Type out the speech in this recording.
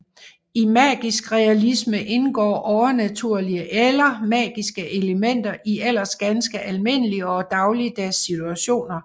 I magisk realisme indgår overnaturlige eller magiske elementer i ellers ganske almindelige og dagligdags situationer